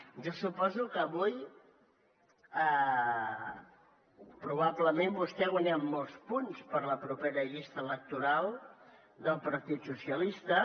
jo suposo que avui probablement vostè ha guanyat molts punts per a la propera llista electoral del partit socialista